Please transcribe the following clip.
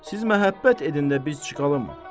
Siz məhəbbət edin də biz çıxalım.